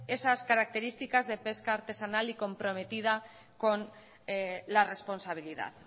esas características de pesca artesanal y comprometida con la responsabilidad